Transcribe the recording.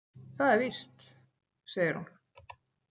Það er víst, segir hún.